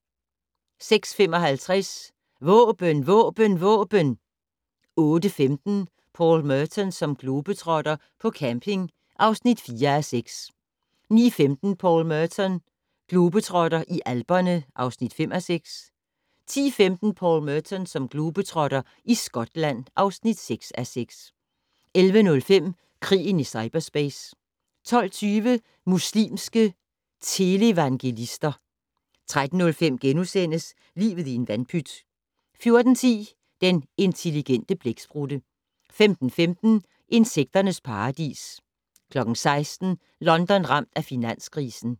06:55: Våben Våben Våben! 08:15: Paul Merton som globetrotter - på camping (4:6) 09:15: Paul Merton globetrotter - i Alperne (5:6) 10:15: Paul Merton som globetrotter - i Skotland (6:6) 11:05: Krigen i cyperspace 12:20: Muslimske televangelister 13:05: Livet i en vandpyt * 14:10: Den intelligente blæksprutte 15:15: Insekternes paradis 16:00: London ramt af finanskrisen